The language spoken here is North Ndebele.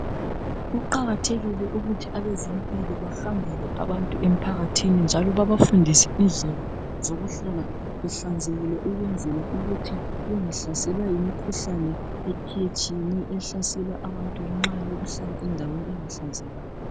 Kuqakathekile ukuthi abezempilo bahambele abantu emphakathini njalo babafundise indlela zokuhlala behlanzekile ukwenzela ukuthi bengahlaselwa yimikhuhlani etshiyetshiyeneyo ehlasela abantu nxa behlala endaweni engahlanzekanga